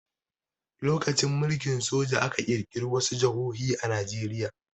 During military rule, some states were created in Nigeria.